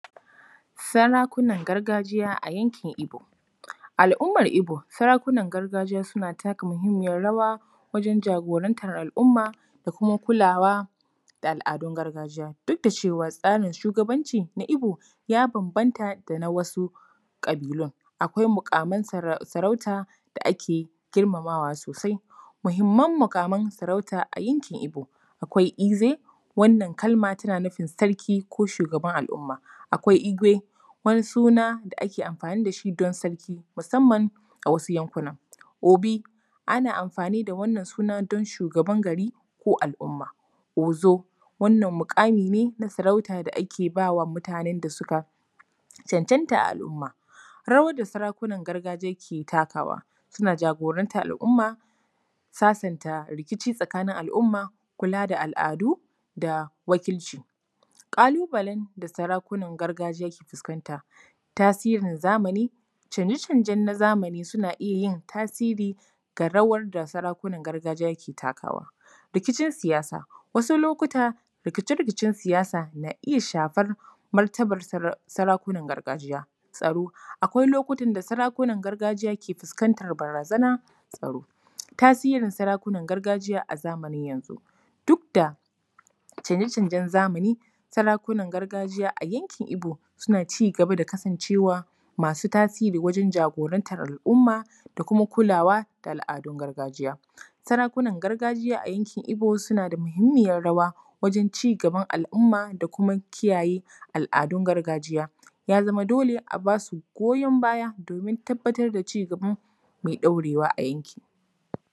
Sarakunan gargajiya a yankin Igbo. Al’ummar Igbo, sarakunan gargajiya suna taka muhimmiyar rawa wajen jagorantar al’umma da kuma kulawa da al’adun gargajiya, duk da cewa tsarin shugabanci na Igbo, ya bambanta da na wasu ƙabilun. Akwai muƙaman sarauta da ake girmamawa sosai. Muhimman muƙaman sarauta a yankin Igbo: akwai ‘Eze’, wannan kalma tana nufin sarki ko shugaban al’umma. Akwai ‘Igwe’ wani suna da ake amfani da shi don sarki musamman a wasu yankunan. Obi’, ana amfani da wannan sunan don shugaban gari ko al’umma. ‘Ozo’, wannan muƙami ne na sarauta da ake ba wa mutanen da suka cancanta a al’umma. Rawar da sarakunan gargajiya ke takawa:: suna jagorantar al’umma, sasanta rikici tsakanin al’umma, kula da al’adu da wakilci. Ƙalubalen da sarakuna suke fuskanta: tasirin zamani, canje canjen na zamani suna iya yin tasiri ga rawar da sarakunan gargajiya ke takawa. Rikicin siyasa, wasu lokuta, rikice rikicen siyasa na iya shafar martabar sarakunan gargajiya. Tsaro, akwai lokutan da sarakunan gargajiya ke fuskantar barazanar tsaro. Tasirin sarakunan gargajiya a zamanin yanzu: duk da canje canjen zamani, sarakunan gargajiya a yankin Igbo suna ci gaba da kasancewa masu tasiri wajen jagorantar al’umma da kuma kulawa da al’adun gargajiya. Sarakunan gargajiya a yankin Igbo suna da muhimmiyar rawa wajen ci gaban al’umma da kuma kiyaye al’adun gargajiya. Ya zama dole a ba su goyon baya domin tabatar da ci gaba mai ɗorewa a yankin.